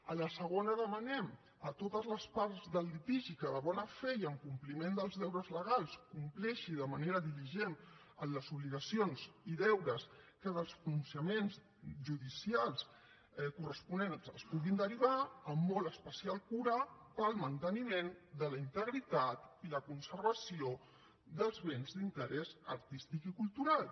a la segona demanem a totes les parts del litigi que de bona fe i en compliment dels deures legals compleixin de manera diligent les obligacions i deures que dels pronunciaments judicials corresponents es puguin derivar amb molt especial cura pel manteniment de la integritat i la conservació dels béns d’interès artístic i cultural